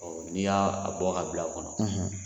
Ɔ n'i y'a bɔ ka bila o kɔnɔ